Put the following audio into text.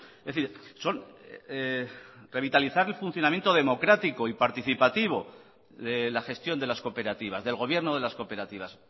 es decir son revitalizar el funcionamiento democrático y participativo de la gestión de las cooperativas del gobierno de las cooperativas